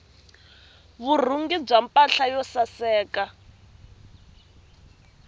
vurhungi bya mpahla yo saseka